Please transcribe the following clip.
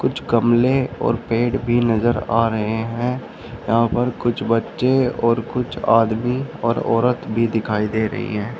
कुछ गमले और पेड़ भी नजर आ रहे हैं यहां पर कुछ बच्चे और कुछ आदमी और औरत भी दिखाई दे रही है।